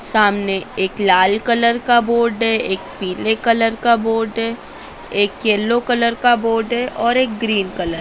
सामने एक लाल कलर का बोर्ड है एक पीले कलर का बोर्ड है एक येलो कलर का बोर्ड है और एक ग्रीन कलर --